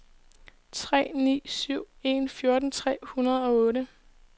tre ni syv en fjorten tre hundrede og otte